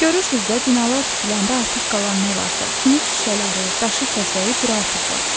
Görürsüz də binalar tikiləndə artıq qalan nə varsa, sınıq şüşələri, daşı-kəsəyi bura atıblar.